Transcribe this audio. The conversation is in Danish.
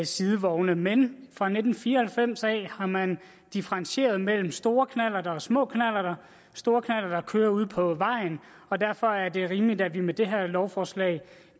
sidevogne men fra nitten fire og halvfems har man differentieret mellem store knallerter og små knallerter store knallerter kører ude på vejen og derfor er det rimeligt at vi med det her lovforslag